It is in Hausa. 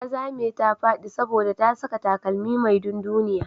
Ta zame ta faɗi saboda ta saka takalmi mai dunduniya.